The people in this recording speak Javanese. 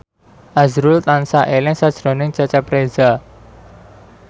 azrul tansah eling sakjroning Cecep Reza